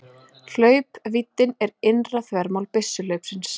Hlaupvíddin er innra þvermál byssuhlaupsins.